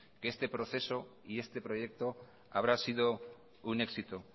que este proceso y este proyecto habrá sido un éxito